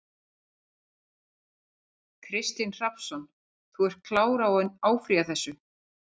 Kristinn Hrafnsson: Þú ert klár á að áfrýja þessu?